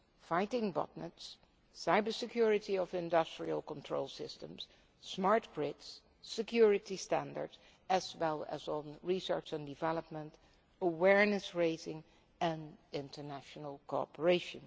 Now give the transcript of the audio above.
as fighting botnets, cyber security of industrial control systems, smart grids and security standards, as well as on research and development, awareness raising and international cooperation.